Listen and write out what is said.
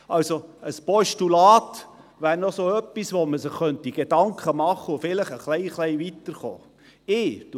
– Also: Ein Postulat wäre noch so etwas, über das man sich Gedanken machen und vielleicht etwas weiter kommen könnte.